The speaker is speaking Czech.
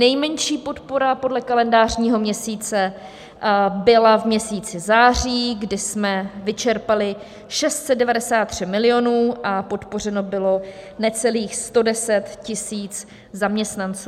Nejmenší podpora podle kalendářního měsíce byla v měsíci září, kdy jsme vyčerpali 693 milionů a podpořeno bylo necelých 110 000 zaměstnanců.